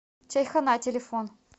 чайхона телефон